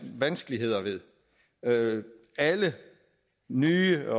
vanskeligheder ved alle nye